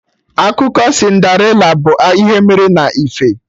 Akụkọ Cinderella abụ ihe mere na ife?